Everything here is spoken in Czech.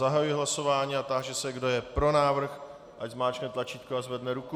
Zahajuji hlasování a táži se, kdo je pro návrh, ať zmáčkne tlačítko a zvedne ruku.